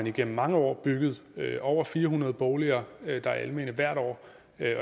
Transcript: igennem mange år bygget over fire hundrede boliger der er almene hvert år